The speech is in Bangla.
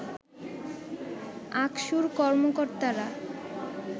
আকসুর কর্মকর্তারা